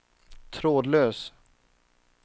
trådlös